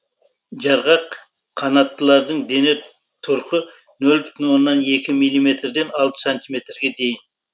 жарғақ қанаттылардың дене тұрқы нөл бүтін оннан екі милиметрден алты сантиметрге дейін